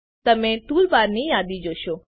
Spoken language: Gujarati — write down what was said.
તમે ટૂલબારની યાદી જોશો